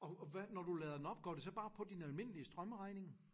Og og hvad når du lader den op går det så bare på din almindelige strømregning?